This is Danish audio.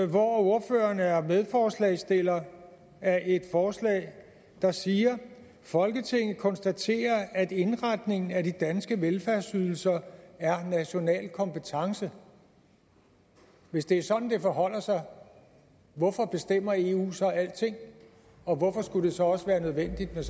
hvor ordføreren er medforslagsstiller af et forslag der siger folketinget konstaterer at indretningen af de danske velfærdsydelser er national kompetence hvis det er sådan det forholder sig hvorfor bestemmer eu så alting og hvorfor skulle det så også være nødvendigt